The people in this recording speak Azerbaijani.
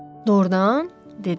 Doğurdan, dedi.